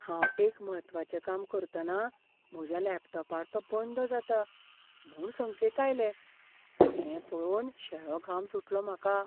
हांव एक म्हत्वाचें काम करतना म्हज्या लॅपटॉपार तो बंद जाता म्हूण संकेत आयले, तें पळोवन शेळो घाम सुटलो म्हाका.